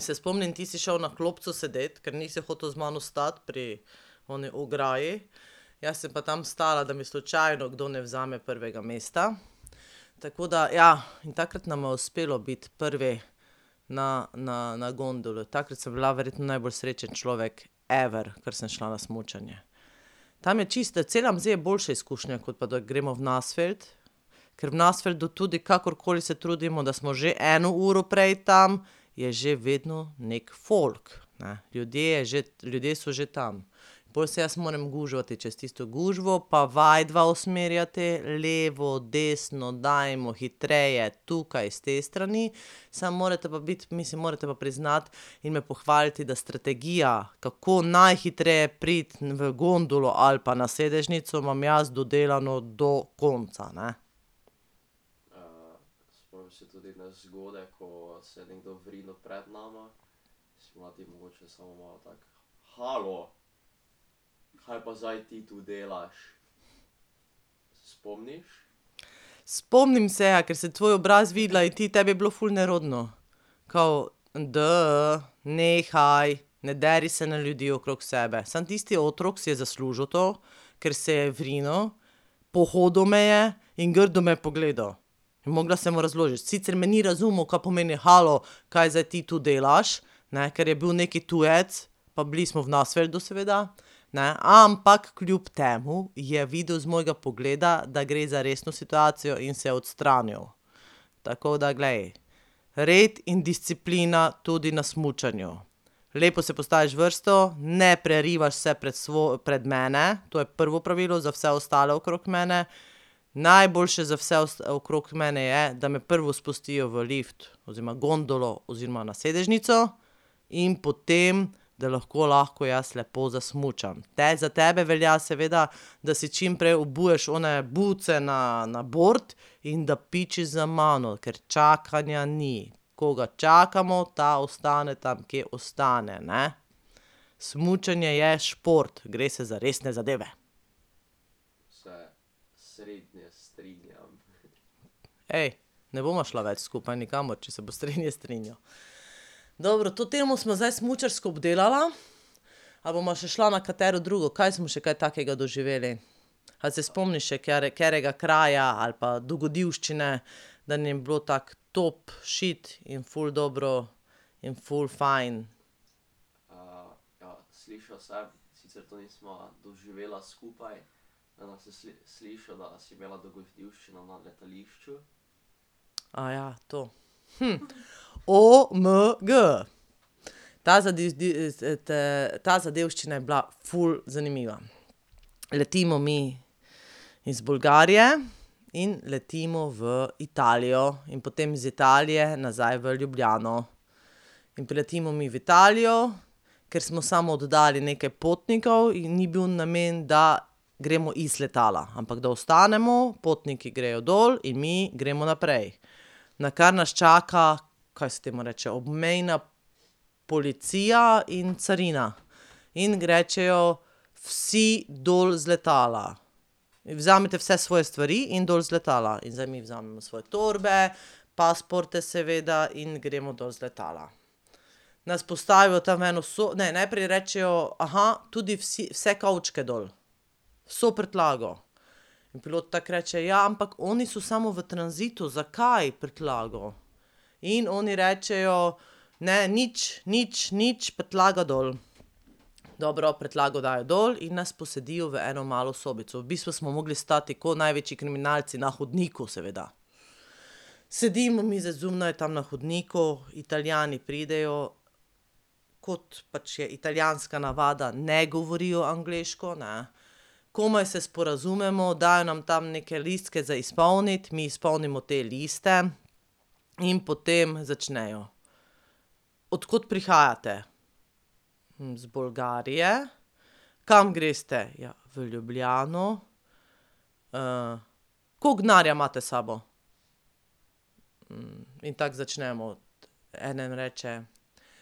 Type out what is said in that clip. Se spomnim, ti si šel na klopco sedeti, ker nisi hotel z mano stati pri oni ograji, jaz sem pa tam stala, da mi slučajno kdo ne vzame prvega mesta. Tako da ja, in takrat nama je uspelo biti prvi na, na, na gondolo, takrat sem bila verjetno najbolj srečen človek ever, ker sem šla na smučanje. Tam je čisto, je boljša izkušnja, kot pa da gremo v Nassfeld, ker v Nassfeldu tudi kakorkoli se trudimo, da smo že eno uro prej tam, je že vedno neki folk, ne. Ljudje že, ljudje so že tam. Pol se jaz moram gužvati čez tisto gužvo, pa vaju dva usmerjati, levo, desno, dajmo, hitreje, tukaj s te strani. Samo morate pa biti, mislim morate pa priznati in me pohvaliti, da strategija, kako najhitreje priti v gondolo ali pa na sedežnico, imam jaz dodelano do konca, ne. Spomnim se, ja, ker sem tvoj obraz videla in ti, tebi je bilo ful nerodno. Kao, nehaj, ne deri se na ljudi okrog sebe. Samo tisti otrok si je zaslužil to, ker se je vrinil, pohodil me je in grdo me je pogledal. In mogla sem mu razložiti. Sicer me ni razumel, kaj pomeni: "Halo, kaj zdaj ti to delaš?" Ne, ker je bil neki tujec pa bili smo v Nassfeldu seveda, ne. Ampak kljub temu je videl z mojega pogleda, da gre za resno situacijo in se je odstranil. Tako da, glej, red in disciplina tudi na smučanju. Lepo se postaviš v vrsto, ne prerivaš se pred pred mene, to je prvo pravilo za vse ostale okrog mene. Najboljše za vse okrog mene je, da me prvo spustijo v lift oziroma gondolo oziroma na sedežnico in potem, da lahko, lahko jaz lepo zasmučam. za tebe velja seveda, da si čim prej obuješ one bootse na, na bord in da pičiš za mano, ker čakanja ni. Koga čakamo, ta ostane tam, kje ostane, ne. Smučanje je šport, gre se za resne zadeve. ne bova šla več skupaj nikamor, če se boš srednje strinjal. Dobro, to temo sva zdaj smučarsko obdelala, a bova še šla na katero drugo, kaj smo še kaj takega doživeli? A se spomniš še katerega kraja ali pa dogodivščine, da bilo tako top šit in ful dobro in ful fajn? to, Omg, ta t ta zadevščina je bila ful zanimiva. Letimo mi iz Bolgarije in letimo v Italijo in potem iz Italije nazaj v Ljubljano. In priletimo mi v Italijo, ker smo samo oddali nekaj potnikov in ni bil namen, da gremo iz letala, ampak da ostanemo, potniki grejo dol in mi gremo naprej. Nakar nas čaka, kaj se temu reče, obmejna policija in carina. In rečejo: "Vsi dol z letala. In vzemite vse svoje stvari in dol z letala." In zdaj mi vzamemo svoje torbe, pasporte seveda in gremo dol z letala. Nas postavijo tam v eno ne najprej rečejo: tudi vsi, vse kovčke dol, vso prtljago." In pilot tako reče: "Ja, ampak oni so samo v tranzitu, zakaj prtljago?" In oni rečejo: "Ne, nič, nič, nič, prtljago dol." Dobro, prtljago dajo dol in nas posedijo v eno malo sobico, v bistvu smo mogli stati ko največji kriminalci na hodniku, seveda. Sedimo mi zdaj zunaj tam na hodniku, Italijani pridejo, kot pač je italijanska navada, ne govorijo angleško, ne. Komaj se sporazumemo, dajo nam tam neke listke za izpolniti, mi izpolnimo te liste in potem začnejo. "Od kod prihajate?" "Iz Bolgarije." "Kam greste?" "Ja v Ljubljano." koliko denarja imate sabo?" mi tako začnemo, eden reče: